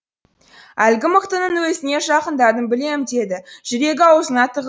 әлгі мықтының өзіне жақындадым білем деді жүрегі аузына тығылып